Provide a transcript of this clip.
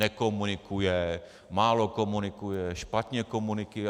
Nekomunikuje, málo komunikuje, špatně komunikuje.